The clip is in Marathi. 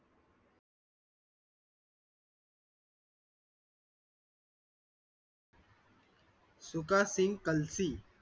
सुखदसिंग कळशी